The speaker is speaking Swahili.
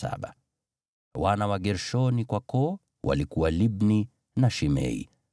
Wana wa Gershoni kwa koo, walikuwa Libni na Shimei.